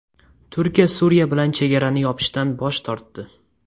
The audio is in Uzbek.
Turkiya Suriya bilan chegarani yopishdan bosh tortdi.